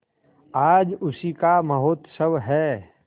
आज उसी का महोत्सव है